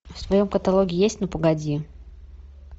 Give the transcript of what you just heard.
в твоем каталоге есть ну погоди